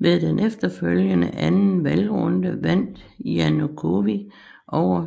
Ved den efterfølgende anden valgrunde vandt Janukovitj over